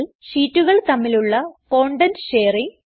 ഷീറ്റുകൾ തമ്മിലുള്ള content sharing